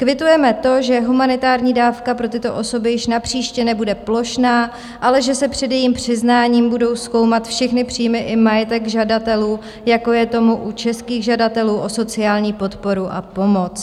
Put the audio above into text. Kvitujeme to, že humanitární dávka pro tyto osoby již napříště nebude plošná, ale že se před jejím přiznáním budou zkoumat všechny příjmy i majetek žadatelů, jako je tomu u českých žadatelů o sociální podporu a pomoc.